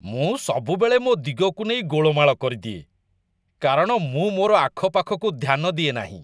ମୁଁ ସବୁବେଳେ ମୋ ଦିଗକୁ ନେଇ ଗୋଳମାଳ କରିଦିଏ, କାରଣ ମୁଁ ମୋର ଆଖପାଖକୁ ଧ୍ୟାନ ଦିଏ ନାହିଁ।